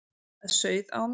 Það sauð á mér.